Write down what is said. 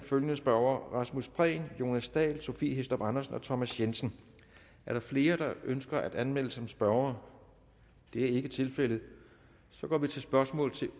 følgende spørgere rasmus prehn jonas dahl sophie hæstorp andersen thomas jensen er der flere der ønsker at melde sig som spørgere det er ikke tilfældet så går vi til spørgsmål til